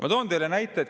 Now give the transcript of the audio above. Ma toon teile näite.